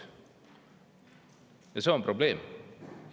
Ja see on probleem.